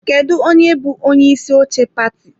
Kedu onye bụ onyeisi oche pati?